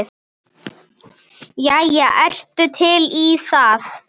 Jæja, ertu til í það?